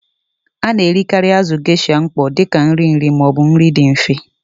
A na-erikarị azụ̀ Geisha mkpọ dị ka nri nri ma ọ bụ nri dị mfe.